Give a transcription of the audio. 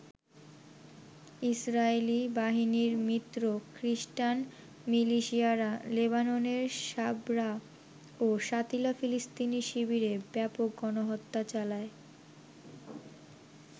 Israeli বাহিনীর মিত্র খ্রীষ্টান মিলিশিয়ারা লেবাননের সাবরা ও শাতিলা ফিলিস্তিনি শিবিরে ব্যাপক গণহত্যা চালায়।